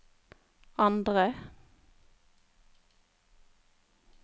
andre